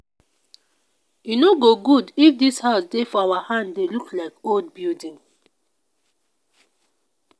e no go good if dis house dey for our hand dey look like old building